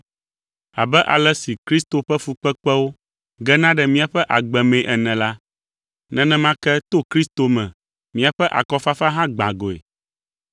Abe ale si Kristo ƒe fukpekpewo gena ɖe míaƒe agbe mee ene la, nenema ke to Kristo me míaƒe akɔfafa hã gbã goe.